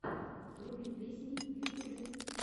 вруби песни в ютубе